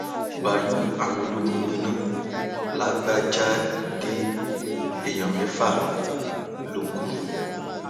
báálùú àwọn ológun gbiná làbájáde èèyàn mẹfà ló kù